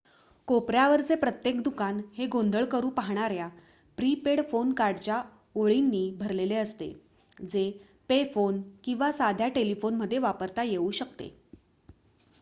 कोपऱ्यावरचे प्रत्येक दुकान हे गोंधळ करू पाहणाऱ्या प्री-पेड फोन कार्डच्या ओळीनी भरलेले असते जे पे फोन किंवा साध्या टेलिफोन मध्ये वापरता येऊ शकते